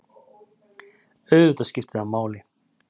Auðvitað skipti það máli.